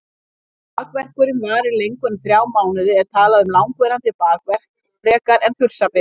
Ef bakverkurinn varir lengur en þrjá mánuði er talað um langvarandi bakverk frekar en þursabit.